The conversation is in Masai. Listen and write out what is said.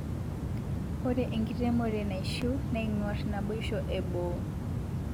Ore enkiremore naishiu neingor naibosho eboo